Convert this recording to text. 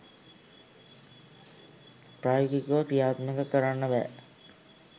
ප්‍රායෝගිකව ක්‍රියාත්මක කරන්න බෑ